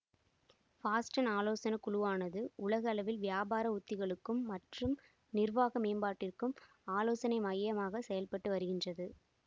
Boston ஆலோசனை குழுவானது உலக அளவில் வியாபார உத்திகளுக்கும் மற்றும் நிர்வாக மேம்பாட்டிற்கும் ஆலோசனை மையமாகச் செயல்பட்டு வருகின்றது